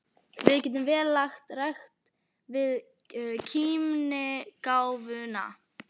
Við getum vel lagt rækt við kímnigáfuna.